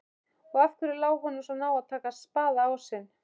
Og af hverju lá honum svona á að taka spaðaásinn?